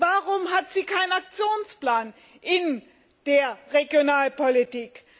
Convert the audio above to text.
Warum hat sie keinen Aktionsplan in der Regionalpolitik?